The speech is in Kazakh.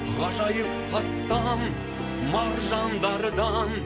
ғажайып тастан маржандардан